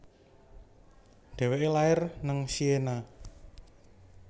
Deweke lahir neng Siena